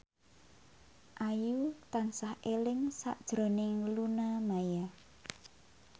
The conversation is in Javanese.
Ayu tansah eling sakjroning Luna Maya